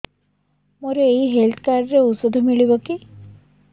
ମୋର ଏଇ health card ରେ ଔଷଧ ମିଳିବ କି